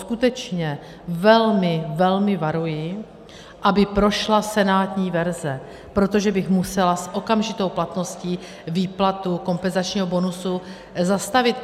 Skutečně velmi, velmi varuji, aby prošla senátní verze, protože bych musela s okamžitou platností výplatu kompenzačního bonusu zastavit.